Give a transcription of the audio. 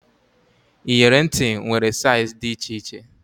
Iyeri ntị nwere saiz dị iche iche